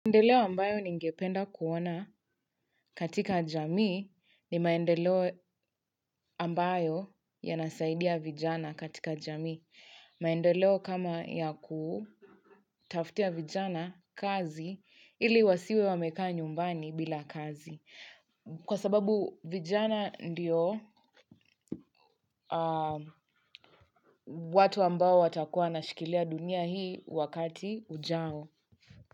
Maendeleo ambayo ningependa kuona katika jamii ni maendeleo ambayo yanasaidia vijana katika jamii. Maendeleo kama ya kutafutia vijana kazi ili wasiwe wamekaa nyumbani bila kazi. Kwa sababu vijana ndiyo watu ambao watakuwa wanashikilia dunia hii wakati ujao.